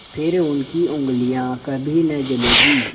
फिर उनकी उँगलियाँ कभी न जलेंगी